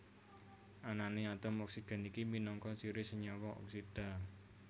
Anané atom oksigen iki minangka ciri senyawa oksida